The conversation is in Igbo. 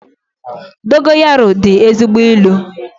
Dogoyaru dị ezigbo ị́lu